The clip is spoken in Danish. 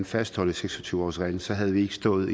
fastholde seks og tyve årsreglen så havde vi ikke stået